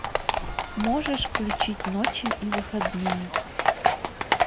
можешь включить ночи и выходные